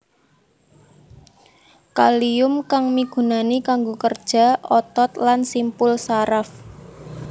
Kalium kang migunani kanggo kerja otot lan simpul saraf